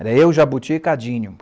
Era eu, Jabuti e Cadinho.